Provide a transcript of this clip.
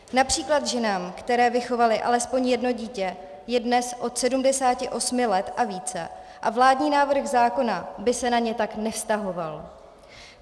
Například ženám, které vychovaly alespoň jedno dítě, je dnes od 78 let a více a vládní návrh zákona by se na ně tak nevztahoval.